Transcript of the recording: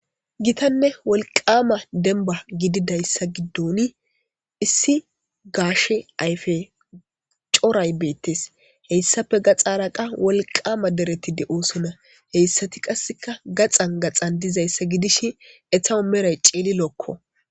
Gitanne wolqama denba gididayisa gidone issi gashe ayfe coray betes heyisappe gaxxara qa wolqama dereti deosona heyisati qaseka gaxan gaxan deizaysa gidishin etawu meray cililokko.